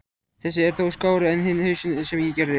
Þessi er þó skárri en hinn hausinn sem ég gerði.